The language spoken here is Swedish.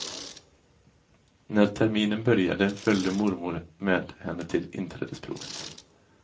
När terminen började följde mormor med henne till inträdesprovet.